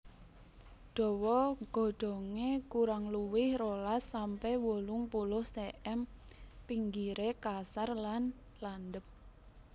Dawa godhongé kurang luwih rolas sampe wolung puluh cm pinggiré kasar lan landhep